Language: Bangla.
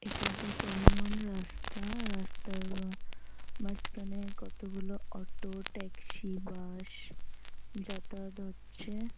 এটা একটা চলমান রাস্তা রাস্তার মাঝখানে কতগুলো অটো ট্যাক্সি বাস যাতায়াত হচ্ছে।